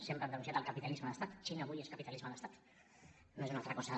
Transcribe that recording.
sempre hem denunciat el capitalisme d’estat la xina avui és capitalisme d’estat no és una altra cosa